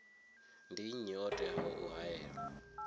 ndi nnyi o teaho u haelwa